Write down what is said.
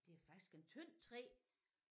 Det er faktisk en tynd træ